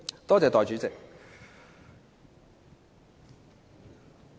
多謝代理主席。